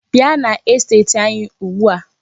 Bia n'esteti anyi ugbua.